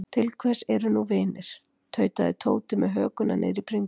Til hvers eru nú vinir. tautaði Tóti með hökuna niðri í bringu.